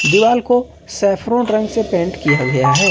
दीवाल को सैफरोन रंग से पेंट किया गया है।